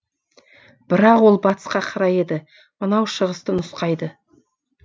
бірақ ол батысқа қарай еді мынау шығысты нұсқайды